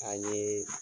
An ye